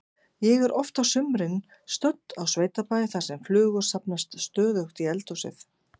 Ég er oft á sumrin stödd á sveitabæ þar sem flugur safnast stöðugt í eldhúsið.